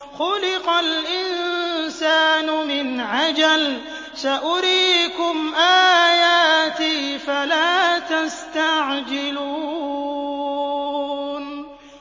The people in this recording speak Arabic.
خُلِقَ الْإِنسَانُ مِنْ عَجَلٍ ۚ سَأُرِيكُمْ آيَاتِي فَلَا تَسْتَعْجِلُونِ